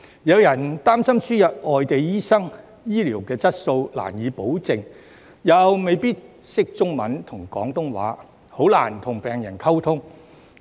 有人擔心輸入外地醫生，醫療質素便難以保證，他們又未必能操中文和廣東話，很難與病人溝通。